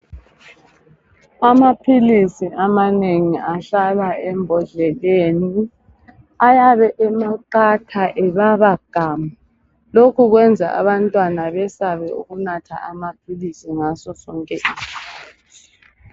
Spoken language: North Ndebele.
Amaphilisi amanengi ahlala embodleleni ayabe emaqatha ebaba gamu loku kwenza abantwana besabe ukunatha amaphilisi ngaso sonke isikhathi